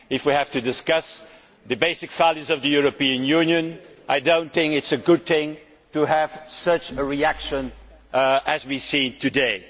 If we have to discuss the basic values of the European Union, I do not think it is a good thing to have the type of reaction we have seen today.